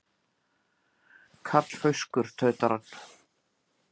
Karlfauskur, tautar hann.